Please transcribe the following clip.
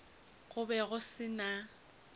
go be go se na